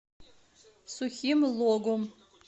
сухим логом